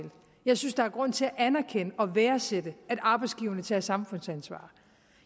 jeg synes der er grund til at anerkende og værdsætte at arbejdsgiverne tager samfundsansvar